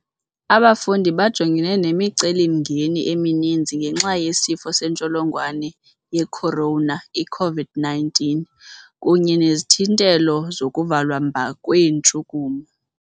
Abafundi bajongene nemiceli-mngeni emininzi ngenxa yeSifo seNtsholongwane ye-Corona, i -COVID-19, kunye nezithintelo zokuvalwa mba kweentshukumo.